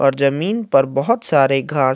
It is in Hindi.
और जमीन पर बोहोत सारे घास --